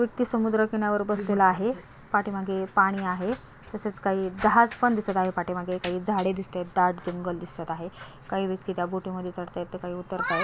व्यक्ती समुद्राकिनावर बसलेला आहे पाठीमागे पाणी आहे तसेच काही जहाज पण दिसत आहे पाठीमागे काही झाडे दिसतायेत दाट जंगल दिसत आहे काही व्यक्ती च्या बोटी मध्ये चढतायेत तर काही उतरतायेत.